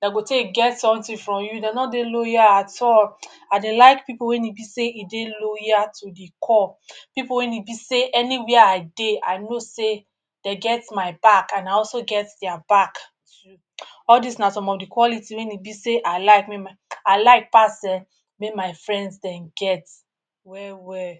de go take get something from you, de no dey loyal at all. I dey like pipu wey e be sey e dey loyal to the core. Pipu wey e be sey anywhere I dey I know sey de get my back and I also get dia back too. All dis na some of the quality wey e be sey I like make my I like pass[um]make my friends dem get well-well.